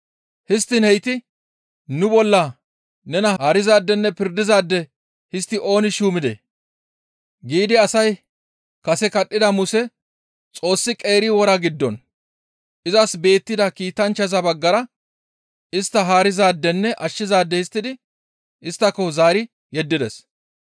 «Histtiin heyti, ‹Nu bolla nena haarizaadenne pirdizaade histti ooni shuumidee?› giidi asay kase kadhida Muse Xoossi qeeri wora giddon izas beettida kiitanchchaza baggara istta haarizaadenne ashshizaade histtidi isttako zaari yeddides.